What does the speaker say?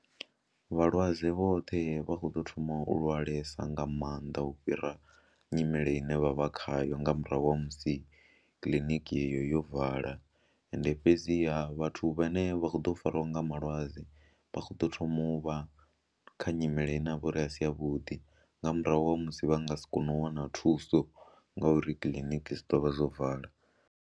Vhalwadze vhoṱhe vha khou ḓo thoma u lwalesa nga maanḓa u fhira nyimele ine vha vha khayo nga murahu ha musi kiḽiniki yeyo yo vala ende fhedziha vhathu vhane vha kho ḓo farwa nga malwadze vha khou ḓo thoma vha kha nyimele ine a vha uri a si yavhuḓi nga murahu ha musi vha nga si kone u wana thuso ngauri kiḽiniki dzi ḓo vha dzo vala.